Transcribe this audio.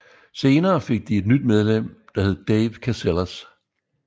Senere fik de et nyt medlem der hed Dave Casillas